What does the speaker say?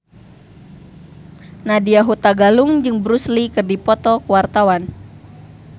Nadya Hutagalung jeung Bruce Lee keur dipoto ku wartawan